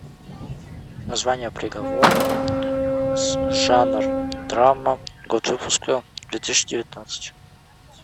название приговор жанр драма год выпуска две тысячи девятнадцать